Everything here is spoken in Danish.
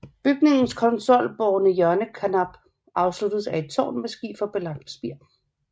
Bygningens konsolbårne hjørnekarnap afsluttes af et tårn med skiferbelagt spir